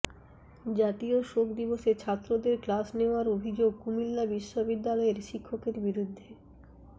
জাতীয় শোক দিবসে ছাত্রদের ক্লাস নেওয়ার অভিযোগ কুমিল্লা বিশ্ববিদ্যালয়ের শিক্ষকের বিরুদ্ধে